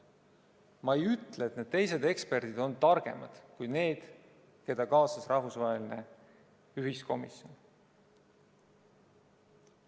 Ma ei ütle, et need teised eksperdid on targemad kui need, keda kaasas rahvusvaheline ühiskomisjon.